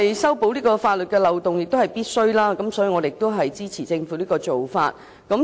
修補法律漏洞是政府必須做的，故我們亦支持政府這做法。